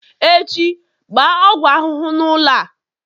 Echi, gbaa ọgwụ ahụhụ n'ụlọ a